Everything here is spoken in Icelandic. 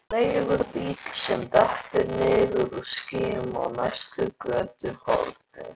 Veifar leigubíl sem dettur niður úr skýjunum á næsta götuhorni.